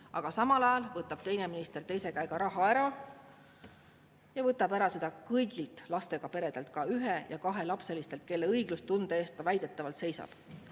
Aga samal ajal võtab teine minister raha ära ja ta võtab selle ära kõigilt lastega peredelt, ka ühe- ja kahelapselistelt, kelle õiglustunde eest ta väidetavalt seisab.